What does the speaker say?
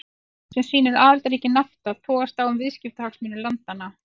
Skopmynd sem sýnir aðildarríki Nafta togast á um viðskiptahagsmuni landanna.